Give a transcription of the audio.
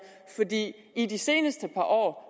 fordi i de seneste par år